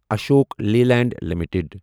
Ashok Leyland limited